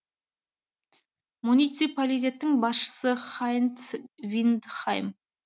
муниципалитеттің басшысы хайнц виндхайм